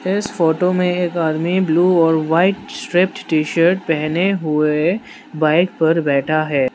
इस फोटो में एक आदमी ब्लू और व्हाइट टी शर्ट पहने हुए बाइक पर बैठा है।